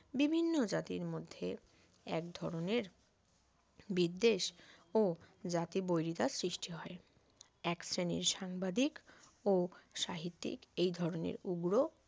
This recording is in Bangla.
বিভিন্ন জাতির মধ্যে এক ধরনের বিদ্বেষ জাতী . সৃষ্টি হয় এক শ্রেণীর সাংবাদিক ও সাহিত্যিক এই ধরণের উগ্র